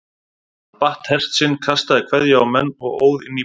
Hann batt hest sinn, kastaði kveðju á menn og óð inn í bæ.